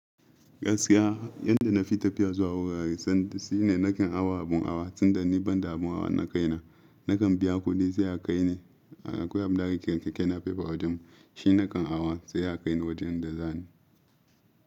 Gaskiya yanda na fi tafiya zuwa wurare sanda shine nakan awa abin awa tun da ni banda abin awa na kai na. Nakan biya kuɗi zai a kai ne. Akwai abin da ake kira keke napep a wajen mu. Shi nakan awa sai a kai ni wajen da za ni.